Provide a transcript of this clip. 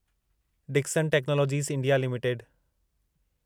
Dixon technologies India limited